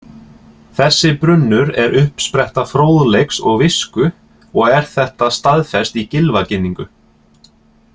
Þessi brunnur er uppspretta fróðleiks og visku og er þetta staðfest í Gylfaginningu